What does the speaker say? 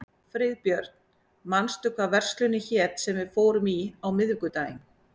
Friðbjörn, manstu hvað verslunin hét sem við fórum í á miðvikudaginn?